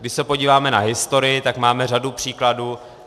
Když se podíváme na historii, tak máme řadu příkladů.